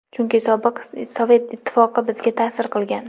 Chunki sobiq Sovet ittifoqi bizga ta’sir qilgan.